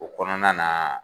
O kɔnɔna naaa.